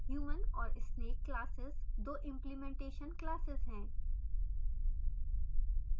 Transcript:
human और snake classes दो implementation classes हैं